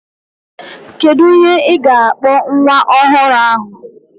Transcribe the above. Kedu ihe ị ga-akpọ nwa ọhụrụ ahụ?